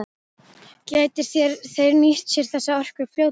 Gætu þeir nýtt sér þessa orku fljótlega?